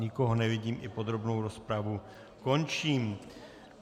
Nikoho nevidím, i podrobnou rozpravu končím.